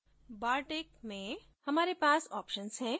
bartik में हमारे पास options हैं